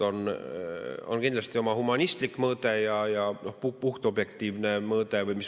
On kindlasti oma humanistlik mõõde ja puhtobjektiivne mõõde.